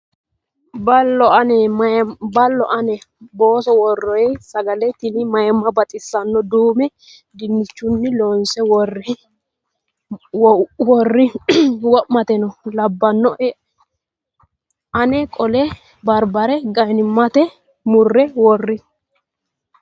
Ballo ane! booso worroyi sagale tini Mayiimma baxissano. Duume dinnichunni loonse worroyi waamattono labbanoe. Aana qolle barbare ga'minayita murre worroyi.